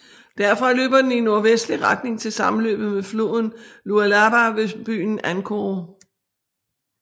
Derfra løber den i nordvestlig retning til sammenløbet med floden Lualaba ved byen Ankoro